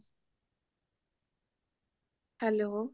hello